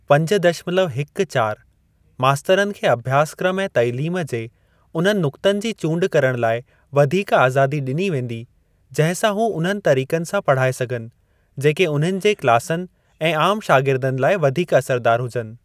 पंज दशमलव हिक चारि मास्तरनि खे अभ्यासक्रम ऐं तालीम जे उन्हनि नुक्तनि जी चूंड करण लाइ वधीक आज़ादी ॾिनी वेंदी, जंहिं सां हू उन्हनि तरीक़नि सां पढ़ाए सघनि, जेके उन्हनि जे क्लासनि ऐं आम शागिर्दनि लाइ वधीक असरदार हुजनि।